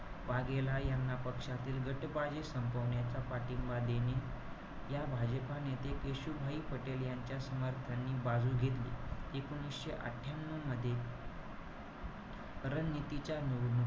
वाघेला यांना पक्षातील गटबाजी संपवण्याचा पाठिंबा देणे, या भाजपा नेते केशूभाई पटेल यांच्या समर्थानी बाजू घेतली. एकोणीशे अठ्ठयांन्यू मध्ये रणनीतीच्या,